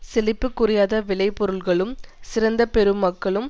செழிப்புக் குறையாத விளைபொருள்களும் சிறந்த பெருமக்களும்